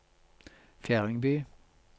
Fjerdingby